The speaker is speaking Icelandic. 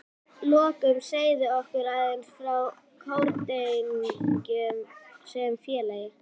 Að lokum segðu okkur aðeins frá Kórdrengjum sem félagi?